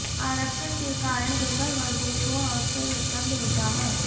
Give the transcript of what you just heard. आरक्षण के कारण दुर्बल वर्गों को अवसर उपलब्ध होता है